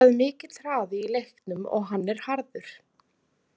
En það er mikill hraði í leiknum og hann er harður.